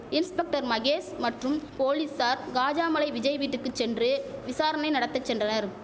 inspector Mahesh மற்றும் போலீசார் காஜாமலை விஜய் வீட்டுக்கு சென்று விசாரணை நடத்த சென்றனர்